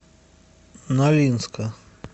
нолинска